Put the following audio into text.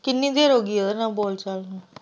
ਕਿੰਨੀ ਦੇਰ ਉਹ ਹੋ ਗਈ ਉਹਦੇ ਨਾਲ ਬੋਲ ਚਾਲ ਨਹੀਂ?